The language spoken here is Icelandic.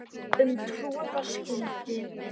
um troða skyldi